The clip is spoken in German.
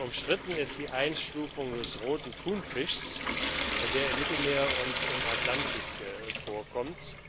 Umstritten ist die Einstufung des Roten Thunfischs, der im Mittelmeer und im Atlantik vorkommt.